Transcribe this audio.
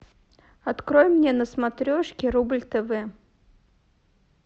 открой мне на смотрешке рубль тв